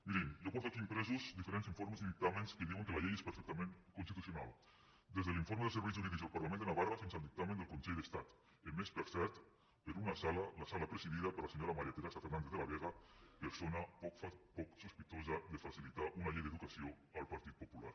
mirin jo porto aquí impresos diferents informes i dictàmens que diuen que la llei és perfectament constitucional des de l’informe dels serveis jurídics del parlament de navarra fins al dictamen del consell d’estat emès per cert per una sala la sala presidida per la senyora maría teresa fernández de la vega persona poc sospitosa de facilitar una llei d’educació al partit popular